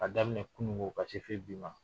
K'a daminɛ kunungo ka se fɔ bi ma.